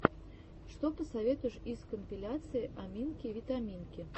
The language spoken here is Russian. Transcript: что посоветуешь из компиляций аминки витаминки